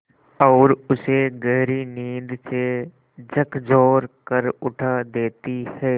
और उसे गहरी नींद से झकझोर कर उठा देती हैं